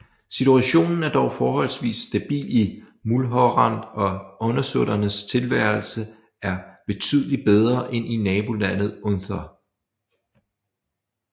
Situationen er dog forholdsvis stabil i Mulhorand og undersåtternes tilværelse er betydeligt bedre end i nabolandet Unther